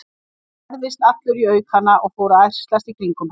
Hann færðist allur í aukana og fór að ærslast í kringum hana.